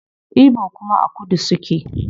Igbo kuma a kudu suke